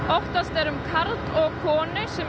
óttast er um karl og konu sem